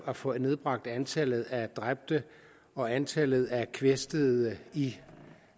at få nedbragt antallet af dræbte og antallet af kvæstede i